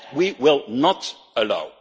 it. That we will not allow.